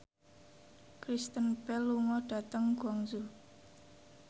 Kristen Bell lunga dhateng Guangzhou